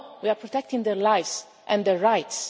No. We are protecting their lives and their rights.